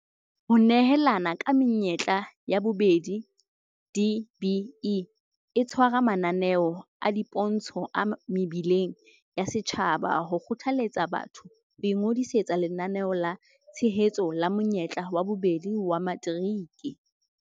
Ho nehelana ka menyetla ya bobedi DBE e tshwara mananeo a dipontsho a mebileng ya setjhaba ho kgothaletsa batho ho ingodisetsa Lenaneo la Tshehetso la Monyetla wa Bobedi wa Materiki.